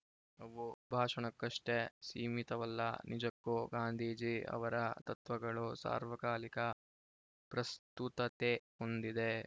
ಅವು ಭಾಷಣಕ್ಕಷ್ಟೇ ಸೀಮಿತವಲ್ಲ ನಿಜಕ್ಕೂ ಗಾಂಧೀಜಿ ಅವರ ತತ್ವಗಳು ಸಾರ್ವಕಾಲಿಕ ಪ್ರಸ್ತುತತೆ ಹೊಂದಿದೆ